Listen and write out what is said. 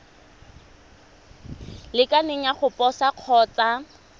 lekaneng ya go posa kgotsa